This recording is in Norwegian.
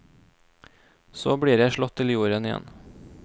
Så blir jeg slått til jorden igjen.